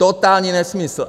Totální nesmysl!